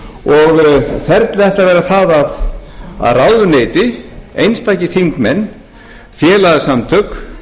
og ferlið ætti að vera það að ráðuneyti einstakir þingmenn félagasamtök